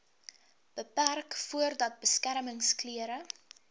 beperk voordat beskermingsklere